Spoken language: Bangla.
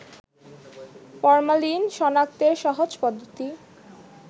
ফরমালিন শনাক্তের সহজ পদ্ধতি